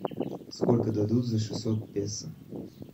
сколько дадут за шестьсот песо